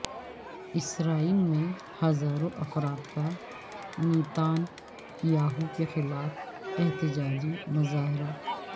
اسرائیل میں ہزاروں افراد کا نیتان یاہو کے خلاف احتجاجی مظاہرہ